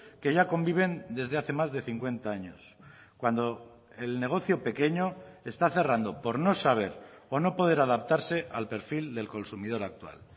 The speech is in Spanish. que ya conviven desde hace más de cincuenta años cuando el negocio pequeño está cerrando por no saber o no poder adaptarse al perfil del consumidor actual